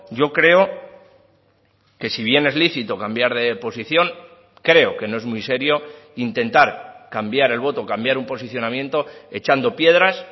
yo creo que si bien es lícito cambiar de posición creo que no es muy serio intentar cambiar el voto cambiar un posicionamiento echando piedras